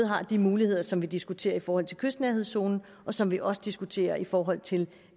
har de muligheder som vi diskuterer i forhold til kystnærhedszonen og som vi også diskuterer i forhold til